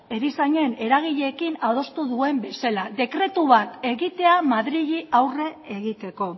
erizainen eragileekin adostu duen bezala dekretu bat egitea madrili aurre egiteko